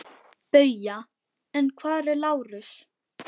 BAUJA: En hvar er Lárus?